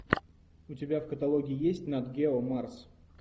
у тебя в каталоге есть нат гео марс